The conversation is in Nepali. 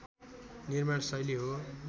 निर्माण शैली हो